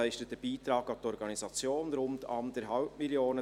Er leistet einen Beitrag an die Organisation von rund 1,5 Mio. Franken.